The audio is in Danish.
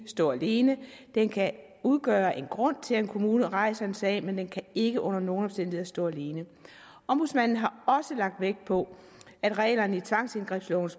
stå alene den kan udgøre en grund til at en kommune rejser en sag men den kan ikke under nogen omstændigheder stå alene ombudsmanden har også lagt vægt på at reglerne i tvangsindgrebslovens